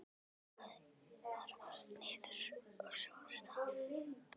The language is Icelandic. Pakkaðu bara niður, og svo af stað!